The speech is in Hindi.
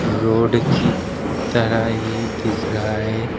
रोड की तरह ये दिख रहा है।